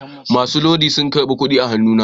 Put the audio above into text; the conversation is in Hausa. Masu lodi sun karba kudi a hannuna